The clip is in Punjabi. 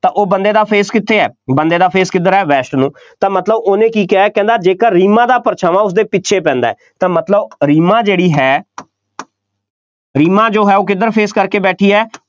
ਤਾਂ ਉਹ ਬੰਦੇ ਦਾ face ਕਿੱਥੇ ਹੈ, ਬੰਦੇ ਦਾ face ਕਿੱਧਰ ਹੈ, west ਨੂੰ, ਤਾਂ ਮਤਲਬ ਉਹਨੇ ਕੀ ਕਿਹਾ, ਕਹਿੰਦਾ ਜੇਕਰ ਰੀਮਾ ਦਾ ਪਰਛਾਵਾਂ ਉਸਦੇ ਪਿੱਛੇ ਪੈਂਦਾ ਹੈ ਤਾਂ ਮਤਲਬ ਰੀਮਾ ਜਿਹੜੀ ਹੈ ਰੀਮਾ ਜੋ ਹੈ ਉਹ ਕਿੱਧਰ face ਕਰਕੇ ਬੈਠੀ ਹੈ,